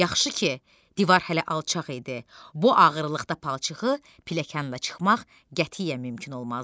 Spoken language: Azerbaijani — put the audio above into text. Yaxşı ki, divar hələ alçaq idi, bu ağırlıqda palçığı pilləkanla çıxmaq qətiyyən mümkün olmazdı.